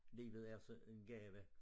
Livet er så en gave